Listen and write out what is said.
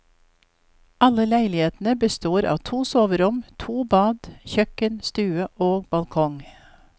Alle leilighetene består av to soverom, to bad, kjøkken, stue og balkong.